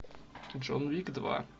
джон уик два